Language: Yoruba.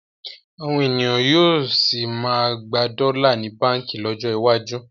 Àwọn ènìyàn yóò sì máa gba dọ́là ní báǹkì lọ́jọ́ iwájú